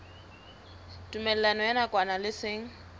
tumellano ya nakwana le seng